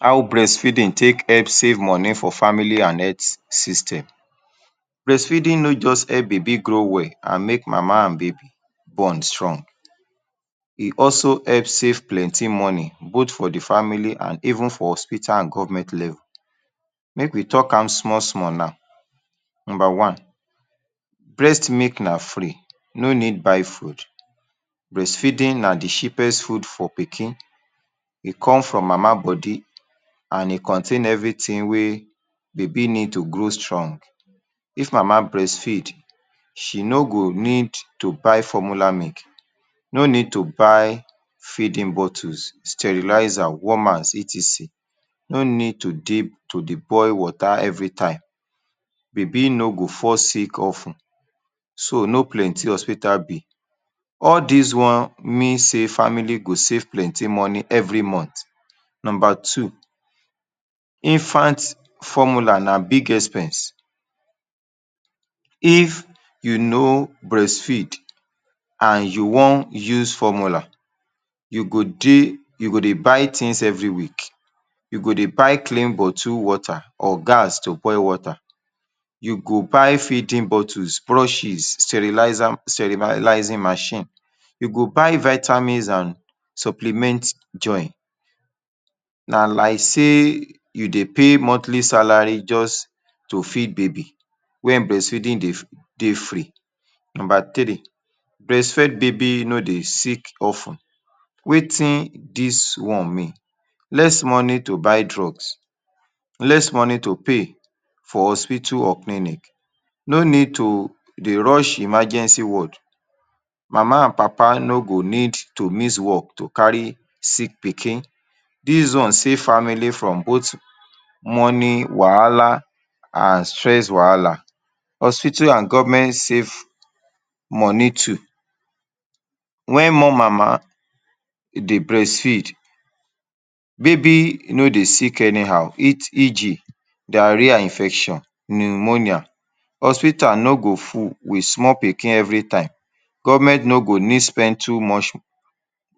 How breastfeeding take help save money for family and health system. Beastfeeding no just help baby grow well and make mama and baby bond strong, e also help save plenty money both for de family and even for hospital and government level. make we talk am small small now.number one: breast milk na free, no need buy food. Breast feeding na de cheapest food for pikin,e come from mama body and e contain everything wey baby need to grow strong. if mama breastfeed, she no go need to buy formula milk. no need to buy feeding bottles, sterilizers warmers, etc. no need to take to dey boil wata everytime. Baby no go fall sick of ten. So no plenty hospital bill all; this one mean say family go save plenty money every month. Number two: infant formula na big expense if you no breastfeed and you wan use formula, you go dey you get dey buy things every week. you get dey buy clean bottle wata, or gas to boil wata. You go buy feeding bottles, brushes, sterilizer sterilising machine. you go buy vitamins and supplements join. na like sey you dey pay monthly salary just to feed baby when breastfeeding dey dey free. Number three: breast fed baby no dey sick of ten. wetin this one mean, less money to buy drugs, less money to pay for hospital or clinic; no need to dey rush emergency ward. Mama and papa no go need to miss work to carry sick pikin. This one safe family from both money wahala and stress wahala. Hospital and government save money too when one mama dey breastfeed baby no dey sick anyhow. E.g Diarrhoea infection, pneumonia, hospital no go full with small pikin. everytime government no go need spend too much